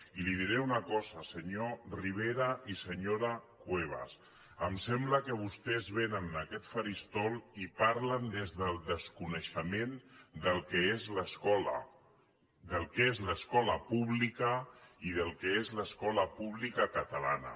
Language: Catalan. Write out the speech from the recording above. i els diré una cosa senyor rivera i senyora cuevas em sembla que vostès vénen en aquest faristol i parlen des del desconeixement del que és l’escola del que és l’escola pública i del que és l’escola pública catalana